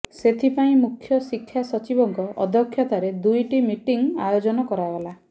ସେଥିପାଇଁ ମୁଖ୍ୟ ଶିକ୍ଷା ସଚିବଙ୍କ ଅଧ୍ୟକ୍ଷତାରେ ଦୁଇଟି ମିଟିଂ ଆୟୋଜନ କରାଗଲା